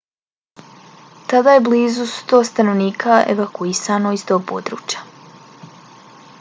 tada je blizu 100 stanovnika evakuisano iz tog područja